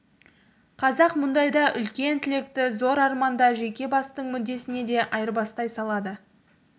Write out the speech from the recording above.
қазақ мұндайда үлкен тілекті зор арманды жеке бастың мүддесіне де айырбастай салады